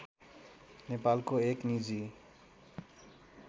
नेपालको एक निजी